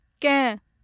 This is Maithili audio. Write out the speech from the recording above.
केँ